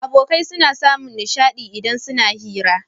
Abokai suna samun nishadi idan suna hira